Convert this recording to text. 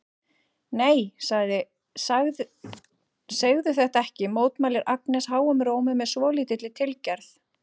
Nei, segðu þetta ekki, mótmælir Agnes háum rómi með svolítilli tilgerð.